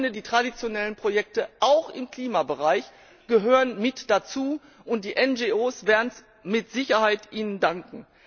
Aber ich finde, die traditionellen Projekte auch im Klimabereich gehören mit dazu, und die NGO werden es Ihnen mit Sicherheit danken.